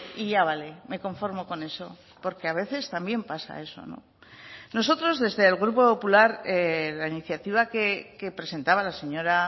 y ya vale me conformo con eso porque a veces también pasa eso nosotros desde el grupo popular la iniciativa que presentaba la señora